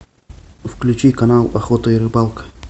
включи канал охота и рыбалка